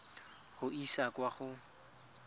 go e isa kwa go